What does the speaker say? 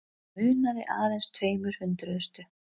Munaði aðeins tveimur hundruðustu